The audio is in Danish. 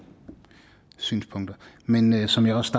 synspunkter men som jeg også